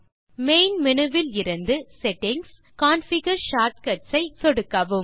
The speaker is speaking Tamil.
மெயின் மேனு விலிருந்து செட்டிங்ஸ் கான்ஃபிகர் ஷார்ட் கட்ஸ் ஐ சொடுக்கவும்